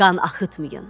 Qan axıtmayın.